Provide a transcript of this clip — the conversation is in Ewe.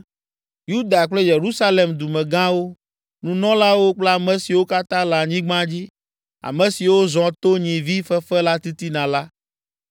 Yuda kple Yerusalem dumegãwo, nunɔlawo kple ame siwo katã le anyigba dzi, ame siwo zɔ to nyivi fefe la titina la,